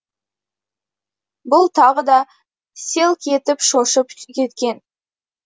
бұл тағы да селк етіп шошып кеткен